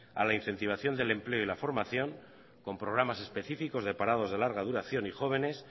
a la incentivación del empleo y la formación con programas específicos de parados de larga duración y jóvenes